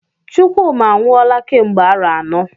Chukwuma anwụọla kemgbe arọ anọ.